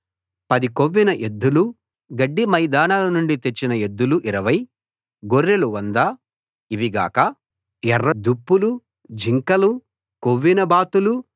పది కొవ్విన ఎద్దులు గడ్డి మైదానాల నుండి తెచ్చిన ఎద్దులు 20 గొర్రెలు 100 ఇవిగాక ఎర్ర దుప్పులు దుప్పులు జింకలు కొవ్విన బాతులు